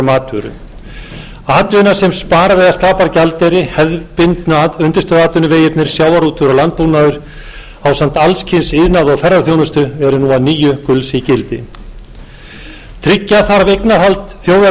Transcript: matvöru atvinna sem sparar eða tapar gjaldeyri hefðbundnu undirstöðuatvinnuvegirnir sjávarútvegur og landbúnaður ásamt alls kyns iðnaði og ferðaþjónustu eru nú að nýju gulls ígildi tryggja þarf eignarhald þjóðarinnar á auðlindum sjávar með skýru ákvæði